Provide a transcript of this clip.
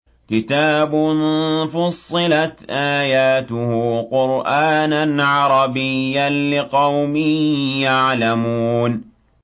كِتَابٌ فُصِّلَتْ آيَاتُهُ قُرْآنًا عَرَبِيًّا لِّقَوْمٍ يَعْلَمُونَ